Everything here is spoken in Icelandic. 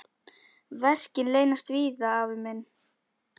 Verkin leynast víða, afi minn.